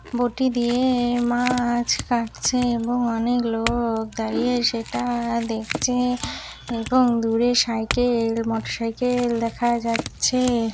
বটি দিয়েয় মাছ কাটছেএবং অনেক লোকক দাঁড়িয়ে সেটা দেখছে এবং দূরে সাইকেল মোটরসাইকেল দেখা যাচ্ছে ।